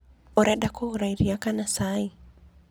Ũrenda kũgũra irĩa kana cai?